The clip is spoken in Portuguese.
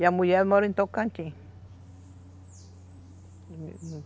E a mulher mora em Tocantins.